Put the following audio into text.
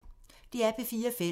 DR P4 Fælles